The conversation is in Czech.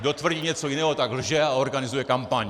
Kdo tvrdí něco jiného, tak lže a organizuje kampaň.